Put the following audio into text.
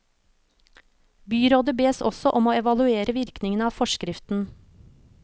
Byrådet bes også om å evaluere virkningene av forskriften.